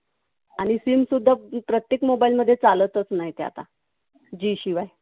आणि SIM सुद्धा प्रत्येक mobile मध्ये चालतच नाही ते आता. G शिवाय.